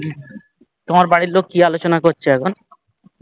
তোমার বাড়ির লোক কি আলোচনা করছে এখন?